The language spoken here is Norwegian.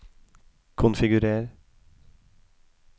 konfigurer